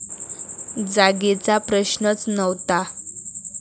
जागेचा प्रश्नच नव्हता.